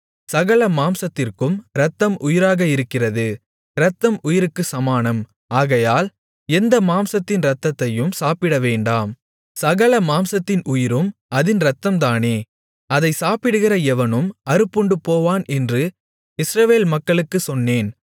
சகல மாம்சத்திற்கும் இரத்தம் உயிராக இருக்கிறது இரத்தம் உயிருக்குச் சமானம் ஆகையால் எந்த மாம்சத்தின் இரத்தத்தையும் சாப்பிடவேண்டாம் சகல மாம்சத்தின் உயிரும் அதின் இரத்தம் தானே அதைச் சாப்பிடுகிற எவனும் அறுப்புண்டுபோவான் என்று இஸ்ரவேல் மக்களுக்குச் சொன்னேன்